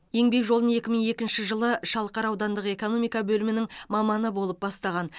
еңбек жолын екі мың екінші жылы шалқар аудандық экономика бөлімінің маманы болып бастаған